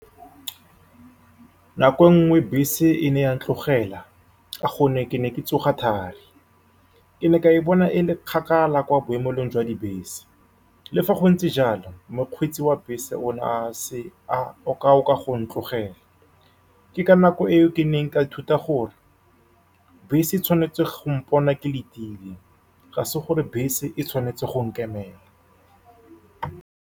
Nako e nngwe bese e ne ya ntlogela ka gonne ke ne ke tsoga thari. Ke ne ka e bona e le kgakala kwa boemelong jwa dibese, le fa go ntse jalo, mokgweetsi wa bese o ne a se one a o ka o ka go ntlogela. Ke ka nako eo ke neng ka ithuta gore bese e tshwanetse go mpona ke letile, ga se gore bese e tshwanetse go nkemela.